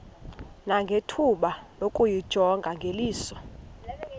nangethuba lokuyijonga ngeliso